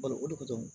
Balo o de don